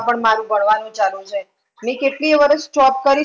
મારું ભણવાનું ચાલું છે. મેં કેટલીયે એ વરસ job કરી